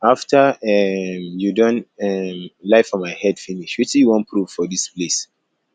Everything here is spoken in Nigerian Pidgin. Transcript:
after um you don um lie for my head finish wetin you wan proof for dis place